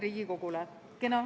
Aitäh!